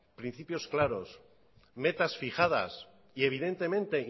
principios claros metas fijadas y evidentemente